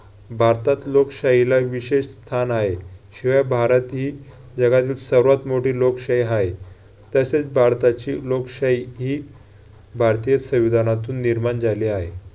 भारतात लोकशाहीला विशेष स्थान आहे. शिवाय भारत ही जगातील सर्वात मोठी लोकशाही आहे. तसेच भारताची लोकशाही ही भारतीय संविधानातून निर्माण झाली आहे.